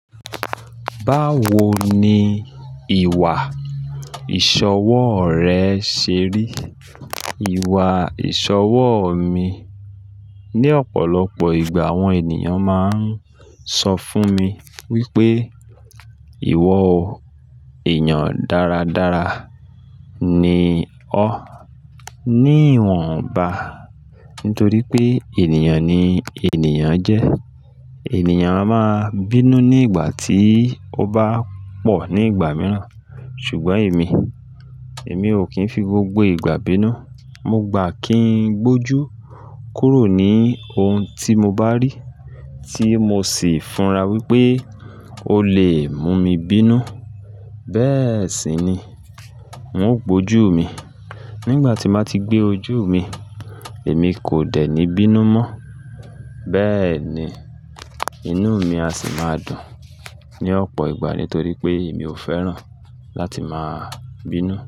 Báwo ni ìwà ìṣọwọ́ rẹ ṣe rí? Ìwà ìṣọwọ́ mi, ní ọ̀pọ̀lọpọ̀ ìgbà àwọn ènìyàn máa ń sọ fún mi wípé, "Ìwọ ò, èèyàn dáradára ni ọ́". Ni ìwọ̀nba, nítorí pé ènìyàn ni ènìyàn jẹ́. Ẹ̀niyàn a máa bínú ní ìgbà tí ó bá pọ̀ ní ìgbà mìíràn. Ṣùgbọ́n èmi, èmi ò kí ń fi gbogbo ìgbà bínú. Mo gbà kí ń gbójú kúrò ní ohun tí mo bá rí, tí mo sì fura wípé ó lè mú mi bínú. Bẹ́ẹ̀ sì ni, n ó gbójú mi. Nígbà tí mà ti gbé ojú mi, èmi kò dẹ̀ ní bínú mọ́. Bẹ́ẹ̀ ni, inú mi a sì máa dùn ní ọ̀pọ̀ ìgbà nítorí pé èmi ò fẹ́ràn láti máa bínú.